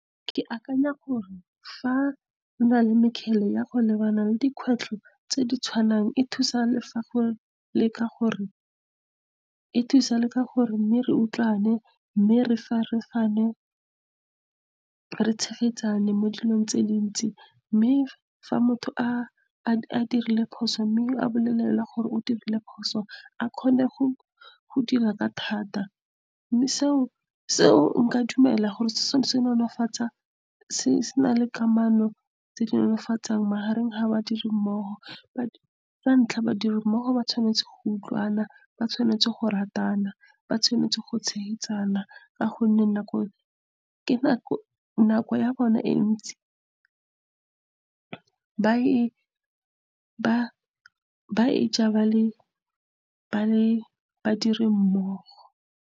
Ke akanya gore fa gona le mekgele ya go lebana le dikgwetlho tse di tshwanang. E thusa le ka gore, mme re utlwane, mme re tshegetsane mo dilong tse dintsi. Mme fa motho a dirile phoso, mme a bolelelwe gore o dirile phoso, a kgone go dira ka thata. Mme seo nka dumela gore se nolofatsa sena le kamano tse di magareng ga ba dirimmogo. Sa ntlha, badirimmogo ba tshwanetse go utlwana, ba tshwanetse go ratana, ba tshwanetse go tshegetsana, ka gonne nako ya bona e ntsi ba e e ja ba le badirimmogo.